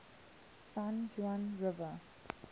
san juan river